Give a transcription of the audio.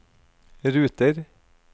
ruter